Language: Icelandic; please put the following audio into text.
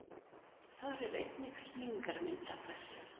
Þar er einnig skýringarmynd af þessu.